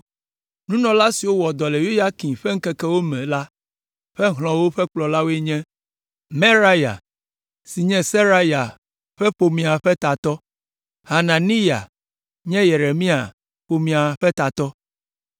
Nunɔla siwo wɔ dɔ le Yoyakim ƒe ŋkekewo me la ƒe hlɔ̃wo ƒe kplɔlawoe nye: Meraya si nye Seraya ƒe ƒomea ƒe tatɔ, Hananiya nye Yeremia ƒomea ƒe tatɔ,